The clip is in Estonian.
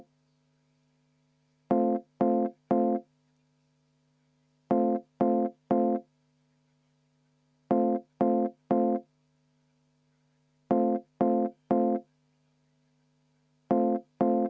Paluks ka kohaloleku kontrolli enne hääletust.